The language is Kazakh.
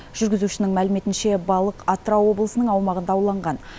жүргізушінің мәліметінше балық атырау облысының аумағында ауланған